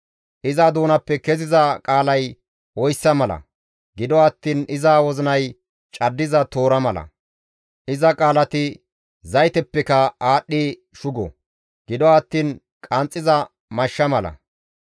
Iza doonappe keziza qaalay oyssa mala; gido attiin iza wozinay caddiza toora mala; iza qaalati zaytepekka aadhdhi shugo; gido attiin qanxxiza mashsha mala.